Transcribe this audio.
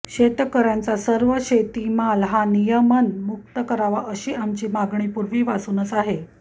शेतकऱ्यांचा सर्व शेतीमाल हा नियमन मुक्त करावा अशी आमची मागणी पूर्वीपासून आहे